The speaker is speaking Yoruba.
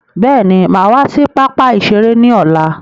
Bẹ́ẹ̀ni, máa wá sí pápá ìṣeré ni ọ̀la.